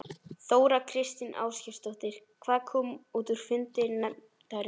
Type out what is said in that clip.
Þóra Kristín Ásgeirsdóttir: Hvað kom út úr fundi nefndarinnar?